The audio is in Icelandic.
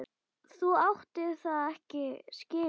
Þú áttir það ekki skilið.